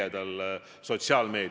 Aitäh!